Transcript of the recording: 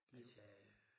Han sagde